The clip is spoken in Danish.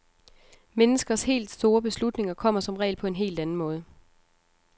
Menneskers helt store beslutninger kommer som regel på en helt anden måde.